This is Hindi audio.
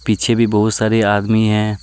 पीछे भी बहुत सारे आदमी हैं।